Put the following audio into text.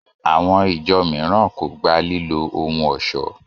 Àwọn ìjọ mìíràn kò gba lílo ohun ọ̀ṣọ́